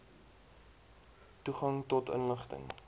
toegang tot inligting